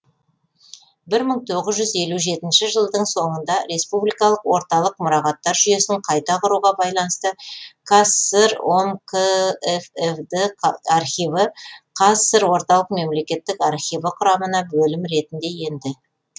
бір мың тоғыз жүз елу жетінші жылдың соңында республикалық орталық мұрағаттар жүйесін қайта құруға байланысты қазсср ом кффд архиві қазсср орталық мемлекеттік архиві құрамына бөлім ретінде енді